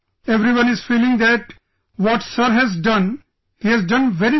Everyone is feeling that what Sir has done, he has done very well